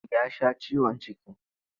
Ya sha ciwon ciki.